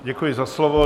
Děkuji za slovo.